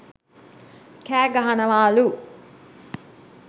කෑ ගහනවාලු